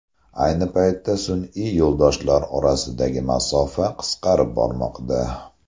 Ayni paytda sun’iy yo‘ldoshlar orasidagi masofa qisqarib bormoqda.